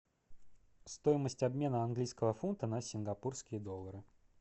стоимость обмена английского фунта на сингапурские доллары